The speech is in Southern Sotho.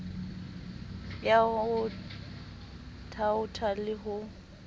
ya ho thaotha le ho